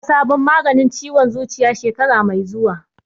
Za a fara sabon maganin ciwon zuciya shekara mai zuwa